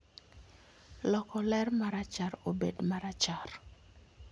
loko ler marachar obed marachar